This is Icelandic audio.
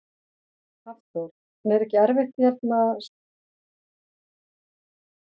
Hafþór: En er ekki erfitt að hérna, spila fótbolta í svona leir?